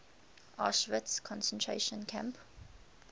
auschwitz concentration camp